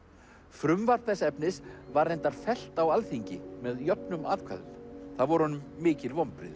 frumvarp þess efnis var reyndar fellt á Alþingi með jöfnum atkvæðum það voru honum mikil vonbrigði